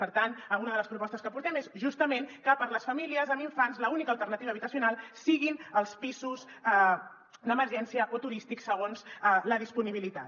per tant una de les propostes que portem és justament que per a les famílies amb infants l’única alternativa habitacional siguin els pisos d’emergència o turístics segons la disponibilitat